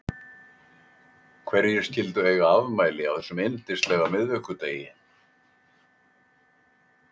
Hverjir skyldu eiga afmæli á þessum yndislega miðvikudegi?